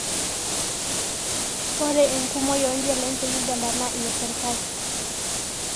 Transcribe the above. Ore enkumoii ooo njelai te Uganda naa ineserkali.